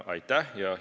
Aitäh!